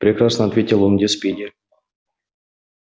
прекрасно ответил он где спиди